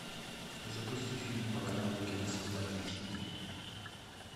запусти фильм по каналу киносвидание хи ди